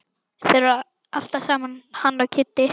Þeir eru alltaf saman hann og Kiddi.